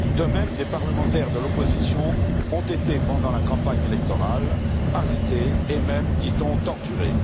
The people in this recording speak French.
De même, des parlementaires de l'opposition ont été, pendant la campagne électorale, arrêtés et même, dit on, torturés.